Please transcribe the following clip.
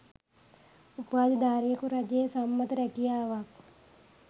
උපාධිධාරියෙකු රජයේ සම්මත රැකියාවක්